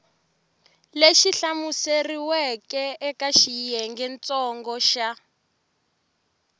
lexi hlamuseriweke eka xiyengentsongo xa